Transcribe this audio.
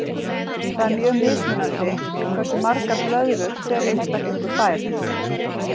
Það er mjög mismunandi hversu margar blöðrur hver einstaklingur fær.